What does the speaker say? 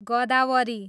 गदावरी